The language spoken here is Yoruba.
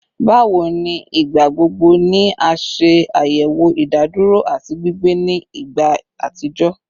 Bawo ni igbagbogbo ni a ṣayẹwo idaduro ati gbigbe ni igba atijọ?